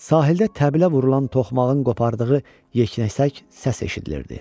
Sahildə təbilə vurulan toxmağın qopardığı yeknəsək səs eşidilirdi.